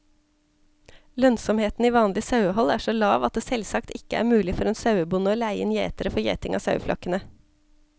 Lønnsomheten i vanlig sauehold er så lav at det selvsagt ikke er mulig for en sauebonde å leie inn gjetere for gjeting av saueflokkene.